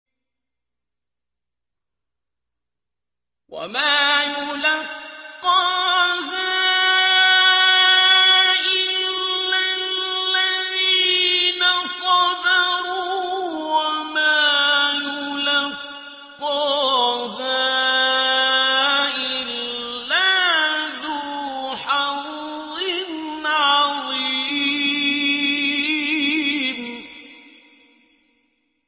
وَمَا يُلَقَّاهَا إِلَّا الَّذِينَ صَبَرُوا وَمَا يُلَقَّاهَا إِلَّا ذُو حَظٍّ عَظِيمٍ